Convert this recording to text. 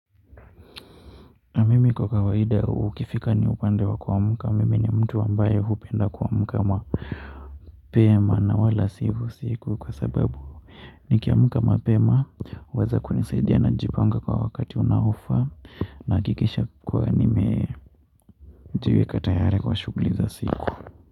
Na mimi kwa kawaida ikifika ni wakati wa kuamka mimi ni mtu hupenda kuamka mapema na wala si usiku nikiamka mapema huweza kunisaidia najipanga kwa wakati unaofaa nahakikisha kuwa nimejiweka tayari kwa shughuli za siku.